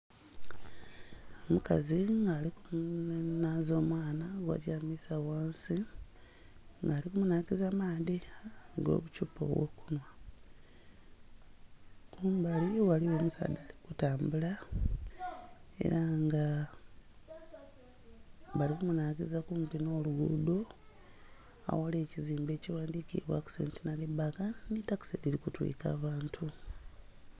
Omukazi nga ali kunaaza omwana gw' atyamisa ghansi nga ali kumunakiza amaadhi g'obukyupa obwokunwa. Kumbali ghaliwo omusaadha ali kutambula era nga bali kumunakiza kumpi n' oluguudo aghali ekizimbe ekighandhikibwaku Centenary Bank nhi takisi dhiri kutwika abantu